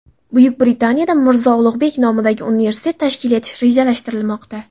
Buyuk Britaniyada Mirzo Ulug‘bek nomidagi universitet tashkil etish rejalashtirilmoqda.